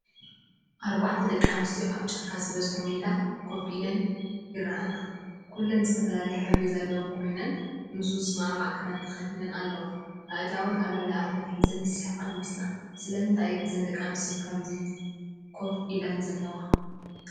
ኣርባዕተ ደቂ ኣንስትዮ ኣብ ጫካ ዝበዝሖ ሜዳ ኮፍ ኢለን ይረኣያ። ኩለን ዝተፈላለየ ሕብሪ ዘለዎን ኮይነን ምስኡ ዝሰማማዕ ክዳን ተኸዲነን ኣለዋ። ኣእዳወን ኣብ ልዕሊ ኣፈን ሒዘን ዝስሕቃ ይመስላ። ስለምንታይ እየን እዘን ደቂ ኣንስትዮ ከምዚ ኮፍ ኢለን ዘለዋ?